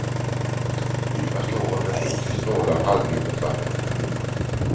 Jag står under en ynklig stråle av halvljummet vatten.